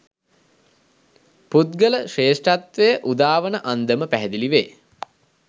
පුද්ගල ශ්‍රේෂ්ඨත්වය උදාවන අන්දම පැහැදිලිවේ.